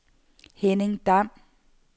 Henning Dam